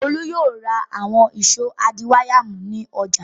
Olú yóò ra àwọn ìṣó adiwáyàmú ní ọjà.